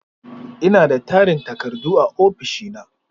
Ina da tarin takardu a ofishina.